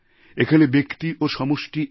এখানে ব্যক্তি ও সমষ্টি এক